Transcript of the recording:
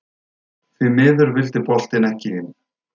Því miður vildi boltinn ekki inn.